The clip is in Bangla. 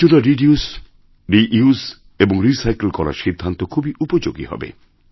আবর্জনা রিডিউস রিউস এবং রিসাইকেল করার সিদ্ধান্ত খুবইউপযোগী হবে